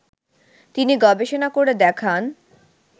তিনি গবেষণা করে দেখান